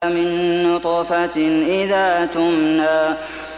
مِن نُّطْفَةٍ إِذَا تُمْنَىٰ